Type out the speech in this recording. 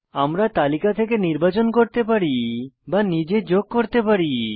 আমরা তালিকা থেকে নির্বাচন করতে পারি বা নিজে যোগ করতে পারি